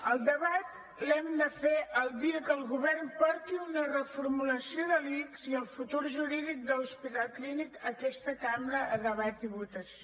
el debat l’hem de fer el dia que el govern porti una reformulació de l’ics i el futur jurídic de l’hospital clínic a aquesta cambra a debat i votació